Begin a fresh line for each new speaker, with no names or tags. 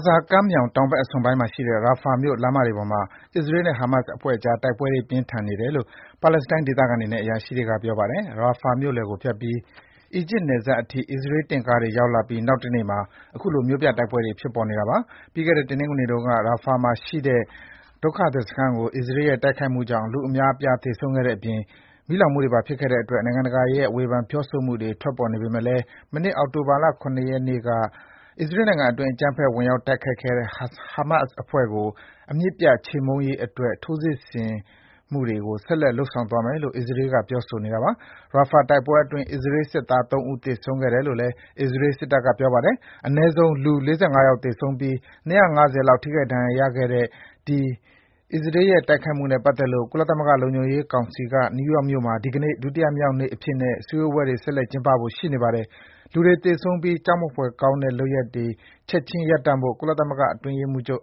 ဇာကမ်းမြောင် တောင်ဘက်အစွန်ပိုင်းမှာရှိတဲ့ Rafah မြို့ လမ်းမတွေပေါ်မှာ အစ္စရေးနဲ့ ဟာမတ်စ်အဖွဲ့အကြား တိုက်ပွဲတွေ ပြင်းထန်နေတယ်လို့ ပါလက်စတိုင်းဒေသခံတွေနဲ့ အရာရှိတွေက ပြောပါတယ်။ Rafah မြို့လယ်ကိုဖြတ်ပြီး အီဂျစ်နယ်စပ်အထိ အစ္စရေး တင့်ကားတွေ ဝင်ရောက်လာပြီး နောက်တနေ့မှာ အခုလို မြို့ပြတိုက်ပွဲတွေ ဖြစ်ပေါ်နေတာပါ။ ပြီးခဲ့တဲ့ တနင်္ဂနွေနေ့တုန်းက Rafah မှာရှိတဲ့ ဒုက္ခသည်စခန်းကို အစ္စရေးရဲ့ တိုက်ခိုက်မှုကြောင့် လူအများအပြား သေဆုံးတဲ့အပြင် မီးလောင်မှုတွေပါ ဖြစ်ခဲ့တဲ့အတွက် နိုင်ငံတကာရဲ့ ဝေဖန် ပြောဆိုမှုတွေ ထွက်ပေါ်နေပေမယ့်လည်း မနှစ် အောက်တိုဘာ ၇ ရက်နေ့က အစ္စရေးနိုင်ငံအတွင်း အကြမ်းဖက် ဝင်ရောက် တိုက်ခိုက်ခဲ့တဲ့ ဟာမတ်စ်အဖွဲ့ကို အမြစ်ပြတ် ချေမှုန်းရေးအတွက် ထိုးစစ်တွေ ဆက်လက် လုပ်ဆောင်သွားမယ်လို့ အစ္စရေးက ပြောဆိုနေတာပါ။ Rafah တိုက်ပွဲတွေအတွင်း အစ္စရေးစစ်သား ၃ ဦး သေဆုံးခဲ့တယ်လို့ အစ္စရေး စစ်တပ်က ပြောပါတယ်။ အနည်းဆုံး လူ ၄၅ ယောက် သေဆုံးပြီး ၂၅၀ လောက် ထိခိုက် ဒဏ်ရာရခဲ့တဲ့ အဲဒီ အစ္စရေးရဲ့တိုက်ခိုက်မှုနဲ့ပတ်သက်လို့ ကုလသမဂ္ဂ လုံခြုံရေးကောင်စီက နယူးယောက်မြို့မှာ ဒီကနေ့ ဒုတိယမြောက်နေ့အဖြစ်နဲ့ စည်းဝေးပွဲ ဆက်လက် ကျင်းပဖို့ ရှိနေပါတယ်။ လူတွေ သေဆုံးပြီး ကြောက်မက်ဖွယ်ကောင်းတဲ့ လုပ်ရပ်တွေ ချက်ခြင်းရပ်တန့်ဖို့ ကုလ
သမဂ္ဂအတွင်းရေးမှူးချုပ်